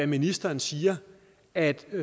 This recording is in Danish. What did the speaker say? ministeren siger at